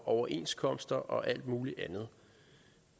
overenskomster og alt muligt andet